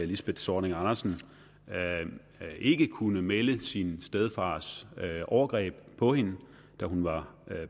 lisbeth zornig andersen ikke kunne melde sin stedfars overgreb på hende da hun var